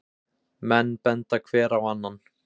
Menn benda hver á annan.